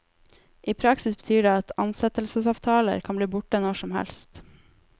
I praksis betyr det at ansettelsesavtaler kan bli borte når som helst.